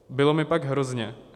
Bylo mi pak hrozně.